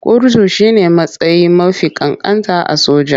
Kurtu shi ne matsayi mafi ƙanƙanta a soja.